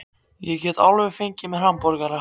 Ég get alveg fengið mér hamborgara.